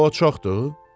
Hələ o çoxdu?